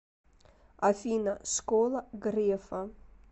афина школа грефа